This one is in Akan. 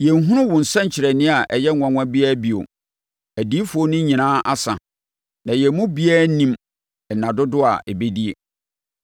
Yɛnhunu wo nsɛnkyerɛnneɛ a ɛyɛ nwanwa biara bio; adiyifoɔ no nyinaa asa, na yɛn mu biara nnim nna dodoɔ a ɛbɛdie.